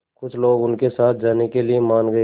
कुछ लोग उनके साथ जाने के लिए मान गए